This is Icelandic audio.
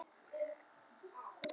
Ísafold, hvenær kemur sexan?